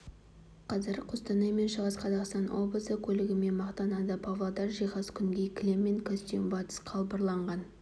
қазір қостанай мен шығыс қазақстан облысы көлігімен мақтанады павлодар жиһаз күнгей кілем мен костюм батыс қалбырланған